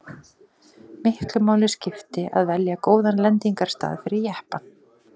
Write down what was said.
Miklu máli skipti að velja góðan lendingarstað fyrir jeppann.